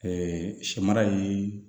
sɛ mara ye